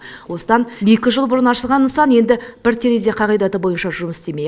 осыдан екі жыл бұрын ашылған нысан енді бір терезе қағидаты бойынша жұмыс істеме